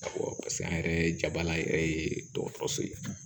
Awɔ paseke an yɛrɛ jabala yɛrɛ ye dɔgɔtɔrɔso ye